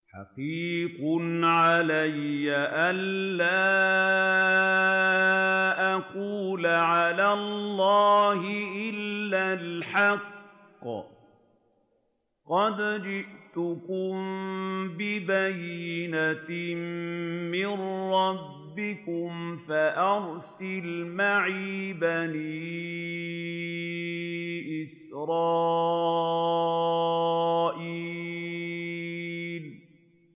حَقِيقٌ عَلَىٰ أَن لَّا أَقُولَ عَلَى اللَّهِ إِلَّا الْحَقَّ ۚ قَدْ جِئْتُكُم بِبَيِّنَةٍ مِّن رَّبِّكُمْ فَأَرْسِلْ مَعِيَ بَنِي إِسْرَائِيلَ